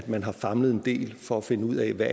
man har famlet en del for at finde ud af hvad